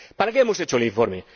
¿Para qué hemos hecho el informe?